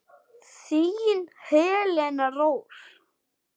Þín Helena Rós.